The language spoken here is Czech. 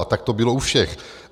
A tak to bylo u všech.